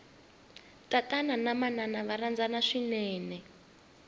tatana na manana va rhandzana swinene